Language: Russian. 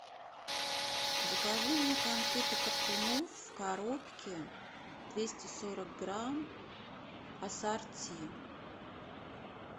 закажи мне конфеты коркунов в коробке двести сорок грамм ассорти